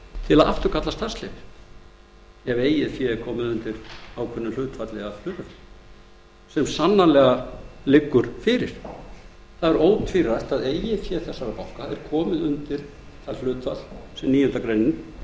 til að afturkalla starfsleyfi ef eigið fé er orðið undir ákveðnu hlutfalli af hlutafé sem sannanlega liggur fyrir það er ótvírætt að eigið fé þessara banka er komið undir það hlutfall sem níundu grein